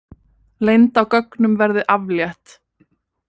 Leynd á gögnum verði aflétt